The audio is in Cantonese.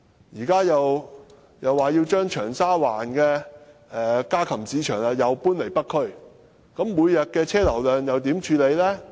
現時又說要將長沙灣的家禽市場搬進北區，每天的汽車流量又如何處理呢？